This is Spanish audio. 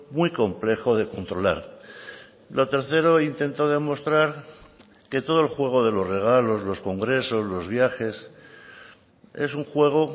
muy complejo de controlar lo tercero intento demostrar que todo el juego de los regalos los congresos los viajes es un juego